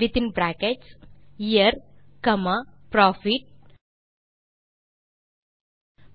within bracket year comma profit